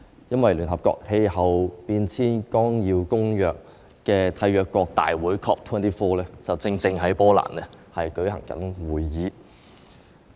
因為聯合國氣候變化綱要公約締約國大會正在波蘭舉行會議。